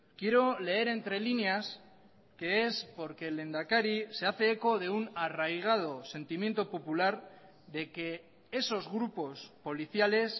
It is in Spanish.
quiero leer entre líneas que es porque el lehendakari se hace eco de un arraigado sentimiento popular de que esos grupos policiales